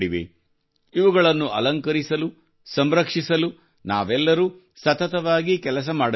ಇವುಗಳನ್ನು ಅಲಂಕರಿಸಲು ಸಂರಕ್ಷಿಸಲು ನಾವೆಲ್ಲರೂ ಸತತವಾಗಿ ಕೆಲಸ ಮಾಡಬೇಕಾಗಿದೆ